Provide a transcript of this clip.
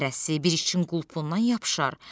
hərəsi bir işin qulpundan yapışar.